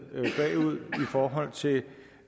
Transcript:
forhold til